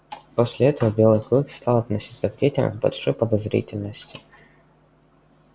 после этого белый клык стал относиться к детям с большой подозрительностью